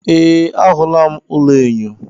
Ee, ahụla m ụlọ enyo.